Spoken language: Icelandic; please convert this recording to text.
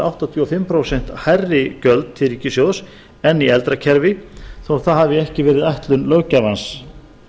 áttatíu og fimm prósent hærri gjöld til ríkissjóðs en í eldra kerfi þótt það hafi ekki verið ætlun löggjafans frumvarp